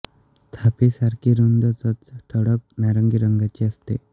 थापी सारखी रुंद चोच ठळक नारंगी रंगाची असते